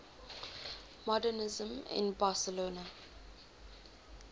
modernisme in barcelona